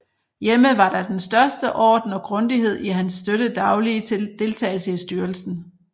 Hjemme var der den største orden og grundighed i hans støtte daglige deltagelse i styrelsen